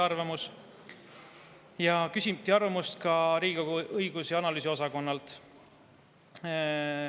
Arvamust küsiti ka Riigikogu Kantselei õigus- ja analüüsiosakonnalt.